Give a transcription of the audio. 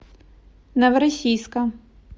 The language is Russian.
новороссийска